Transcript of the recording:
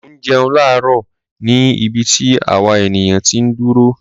Mò ń jẹun láàárò ni ibi tí àwa ènìyàn ti ń dúró.